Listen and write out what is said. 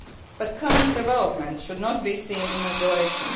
But current developments should not be seen in isolation.